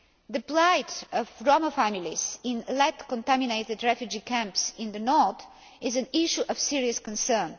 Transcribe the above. The plight of Roma families in lead contaminated refugee camps in the north is an issue of serious concern.